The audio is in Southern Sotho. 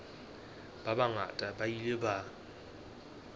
ba bangata ba ile ba